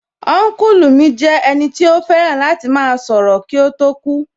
Ọ́nkùlù mi jẹ́ ẹnì tí ó fẹ́ràn láti máa sọ̀rọ̀ kí ó tó kú